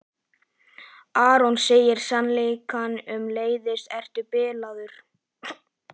Aron segir sannleikann um meiðslin: Ertu bilaður?